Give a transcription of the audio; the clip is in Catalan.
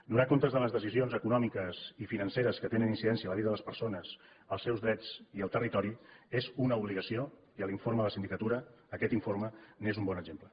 donar compte de les decisions econòmiques i financeres que tenen incidència en la vida de les persones els seus drets i el territori és una obligació i l’informe de la sindicatura aquest informe n’és un bon exemple